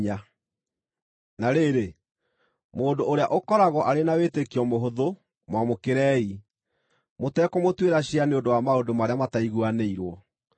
Na rĩrĩ, mũndũ ũrĩa ũkoragwo arĩ na wĩtĩkio mũhũthũ mwamũkĩrei, mũtekũmũtuĩra ciira nĩ ũndũ wa maũndũ marĩa mataiguanĩirwo.